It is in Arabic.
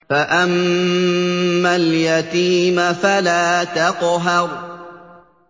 فَأَمَّا الْيَتِيمَ فَلَا تَقْهَرْ